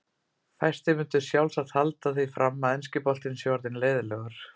Fæstir myndu sjálfsagt halda því fram að enski boltinn sé orðinn leiðinlegur.